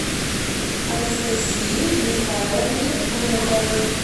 анастасии михайловне глуховой